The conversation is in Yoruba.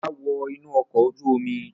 Ọlá wọ inú ọkọ̀ ojú-omi!